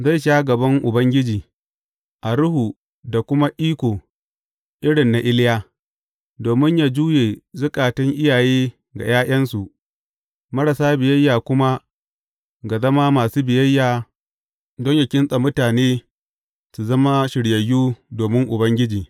Zai sha gaban Ubangiji, a ruhu da kuma iko irin na Iliya, domin yă juye zukatan iyaye ga ’ya’yansu, marasa biyayya kuma ga zama masu biyayya don yă kintsa mutane su zama shiryayyu domin Ubangiji.